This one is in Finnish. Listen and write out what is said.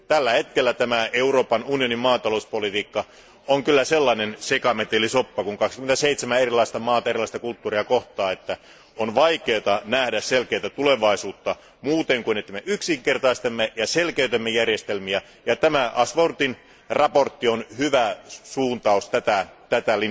Tällä hetkellä tämä Euroopan unionin maatalouspolitiikka on sellainen sekametelisoppa, kun 27 erilaista maata ja 27 erilaista kulttuuria kohtaa, että on vaikea nähdä selkeää tulevaisuutta muuten kuin että me yksinkertaistamme ja selkeytämme järjestelmiä. Tämä Ashworthin mietintö on hyvä linjaus tätä